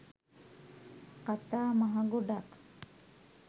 කතා මහ ගොඩක්